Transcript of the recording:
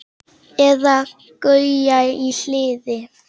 Eða Gauja í Hliði!